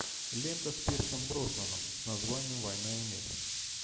лента с пирсом броснаном с названием война и мир